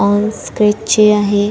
On scratch चे आहे.